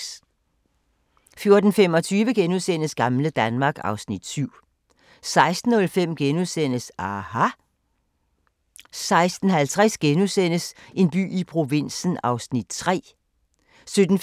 14:25: Gamle Danmark (Afs. 7)* 16:05: aHA! * 16:50: En by i provinsen (3:17)* 17:45: En